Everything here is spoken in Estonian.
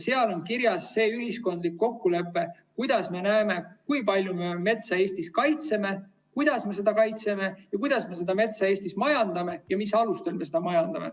Seal on kirjas see ühiskondlik kokkulepe, kuidas me näeme, kui palju me metsa Eestis kaitseme, kuidas me seda kaitseme, kuidas me metsa Eestis majandame ja mis alustel me seda majandame.